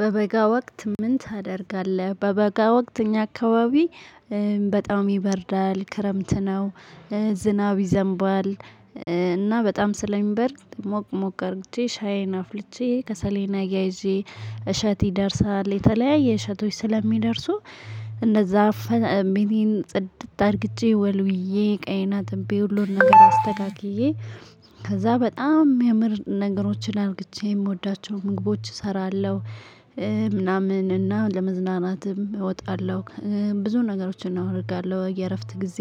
በበጋ ወቅት ምን ታደርጋለህ? በበጋ ወቅት እኛ አካባቢ በጣም ይበርዳል ክረምት ነው። ዝናብ ይዘንባል። እና በጣም ስለሚበርድ ሞቅ ሞቅ አድርጌ ሻዬን አፍልቼ ከሰሌና አያይዤ እሸት ይደርሳል የተለያየ እሸቶች ስለሚደርሱ። እንደዛ ጽድት አድርግቼ ወልውዬ እቃዬን አጥቤ ሁሉን ነገር አስተካክዬ። ከዛ በጣም እሚያምር ነገሮችን አድርጌ የምወዳቸው ምግቦች እሰራለሁ። ምናምን እና ለመዝናናትም እወጣለሁ ብዙ ነገሮችን አደርጋለሁ የእረፍት ጊዜ።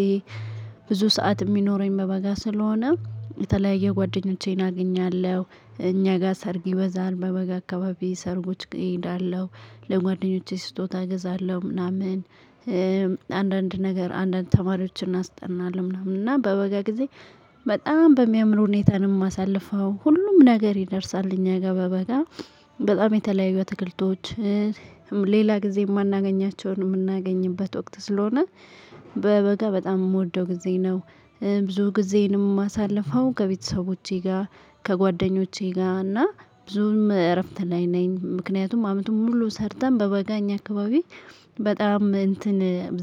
ብዙ ሰዓት እሚኖረኝ በበጋ ስለሆነ የተለያየ ጓደኞቼን አግኛለሁ። እኛ ጋር ሰርጊ ይበዛል በበጋ አካባቢ ሰርጎች እሄዳለሁ ለጓደኞቼ ስጦታ እገዛለሁ ምናምን። አንዳንድ ነገር አንዳንድ ተማሪዎችን እስጠናለው ምናምን እና በበጋ ጊዜ። በጣም በሚያምር ሁኔታን ነው አማሳልፈው ሁሉም ነገር ይደርሳል። እኛ በበጋ በጣም የተለያዩ አትክልቶች። ሌላ ጊዜ የማናገኛቸውን የምናገኝበት ወቅት ስለሆነ። በበጋ በጣም እምወደው ጊዜ ነው። ብዙ ጊዜዬን እማሳልፈው ከቤተሰቦቼ ጋር ከጓደኞቼ ጋር እና ብዙም እረፍት ላይ ነኝ። ምክንያቱም አመቱም ሙሉ ሰርተን በበጋ እኛ አካባቢ በጣም እንትን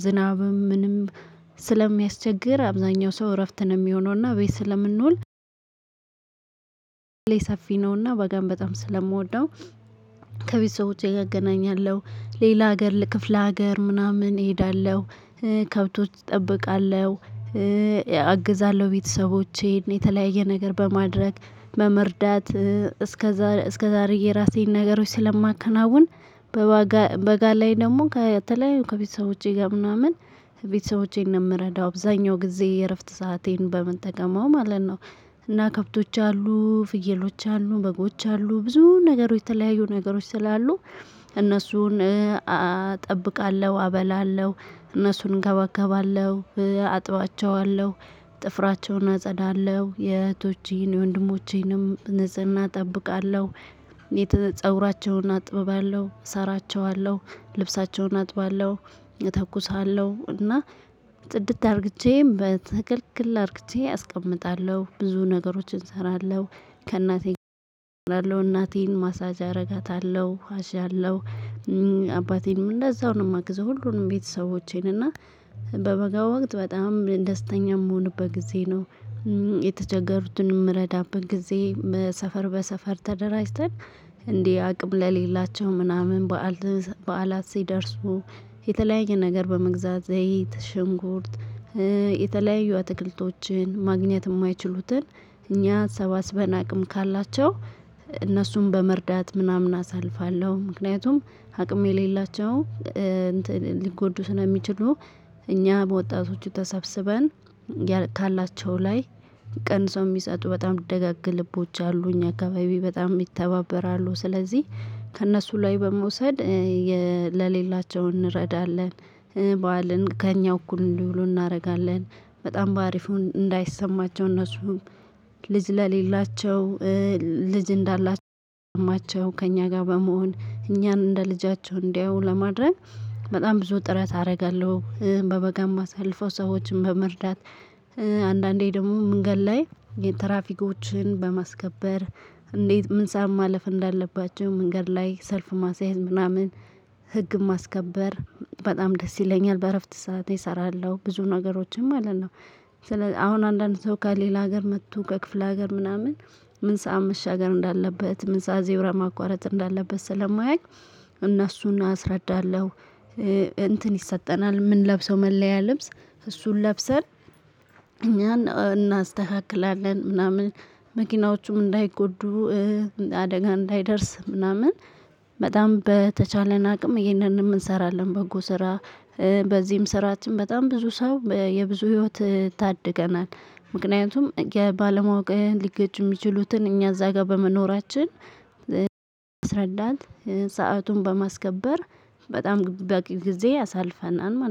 ዝናብም ምንም ስለሚያስቸግር አብዛኛው ሰው እረፍት ነው እሚሆነው እና ቤት ስለምንውል። ሰፊ ነውና በጋን በጣም ስለምወደው። ከቤተሰቦቼ ጋ እገናኛለሁ ሌላ ሀገር ለክፍለ ሀገር ምናምን እሄዳለሁ። ከብቶች እጠብቃለሁ። አግዛለሁ ቤተሰቦቼን የተለያየ ነገር በማድረግ በመርዳት። እስከዛሬ የራሴን ነገሮች ስለማከናውን። በበጋ ላይ ደግሞ ከተለያዩ ከቤተሰቦቼ ጋር ምናምን ቤተሰቦቼን ነው እምረዳው አብዛኛው ጊዜ የእረፍት ሰአቴን በምን ተገማው ማለት ነው። እና ከብቶች አሉ ፍየሎች አሉ በጎች አሉ ብዙ ነገሮች የተለያዩ ነገሮች ስላሉ። እነሱን እጠብቃለሁ አበላለሁ እነሱን እንከባከባለሁ አጥባቸዋለሁ ጥፍራቸውን አጸዳለሁ የእህቶቼን የወንድሞቼንም ንጽህና እጠብቃለሁ። ፀጉራቸውን አጥባለሁ እሰራቸዋለሁ ልብሳቸውን አጥባለሁ እተኩሳለሁ እና ጽድት አድርጌ በትክክል አድርጌ አስቀምጣለሁ ብዙ ነገሮችን እሰራለሁ። ከእናቴ ጋር እሰራለሁ እናቴን ማሳጅ አደርጋታለሁ አሻለሁ። አባቴንም እንደዛው ነው እማግዘው ሁሉንም ቤተሰቦቼን እና በበጋ ወቅት በጣም ደስተኛ እምሆንበት ጊዜ ነው። የተቸገሩትን እምረዳበት ጊዜ በሰፈር በሰፈር ተደራጅተን። እንዲህ አቅም ለሌላቸው ምናምን በዓል በዓላት ሲደርሱ። የተለያየ ነገር በመግዛት ዘይት ሽንጉርት። የተለያዩ አትክልቶችን ማግኘት የማይችሉትን እኛ ሰባስበን አቅም ካላቸው እነሱን በመርዳት ምናምን አሳልፋለሁ ምክንያቱም አቅም የሌላቸው ሊጎዱ ስለሚችሉ። እኛ በወጣቶቹ ተሰብስበን ካላቸው ላይ ቀንሰው እሚሰጡ በጣም ደጋግ ልቦች አሉ እኛ አካባቢ በጣም ይተባበራሉ ስለዚህ። ከእነሱ ላይ በመውሰድ ለሌላቸው እንረዳለን። በዓልን ከእኛ እኩል እንዲውሉ እናደርጋለን። በጣም በአሪፉ እንዳይሰማቸው እነሱም ልጅ ለሌላቸው ልጅ እንዳላቸው እንዲሰማቸው ከእኛ ጋር በመሆን እኛን እንደ ልጃቸው እንዲያው ለማድረግ። በጣም ብዙ ጥረት አደርጋለሁ በበጋ እማሳልፈው ሰዎችን በመርዳት። አንዳንዴ ደግሞ መንገድ ላይ የትራፊኮችን በማስከበር እንዴት ምን ሰዓት ማለፍ እንዳለባቸው መንገድ ላይ ሰልፍ ማስያዝ ምናምን። ህግን ማስከበር በጣም ደስ ይለኛል። በእረፍት ሰዓት እሰራለሁ ብዙ ነገሮችን ማለት ነው። ስለዚህ አሁን አንዳንድ ሰው ከሌላ ሀገር መጥቶ ከክፍለ ሀገር ምናምን ምን ሰዓት መሻገር እንዳለበት ምን ሰዓት ዜብራ ማቋረጥ እንዳለበት ስለማያውቅ እነሱን አስረዳለሁ። እንትን ይሰጠናል እምንለብሰው መለያ ልብስ እሱን ለብሰን እኛን እናስተካክላለን ምናምን። መኪናዎቹም እንዳይጎዱ አደጋ እንዳይደርስ ምናምን። በጣም በተቻለን አቅም ይሄንንም እንሰራለን በጎ ስራ። በዚህም ስርአትም በጣም ብዙ ሰው የብዙ ህይወት ታድገናል። ምክንያቱም የባለማወቅ ሊገጩ እሚችሉትን እኛ እዛ ጋር በመኖራችን። እያስረዳን ሰአቱን በማስከበር። በጣም በቂ ጊዜ አሳልፋናል ማለት ነው